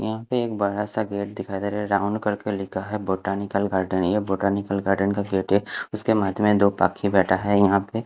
यहा पे एक बड़ा सा गेट दिखाई दे रहा है राउंड करके लिखा है बोटानिकल गार्डन यह बोटानिकल गार्डन का गेट है उसके मध्य में दो पाकी बेठा है यहा पे--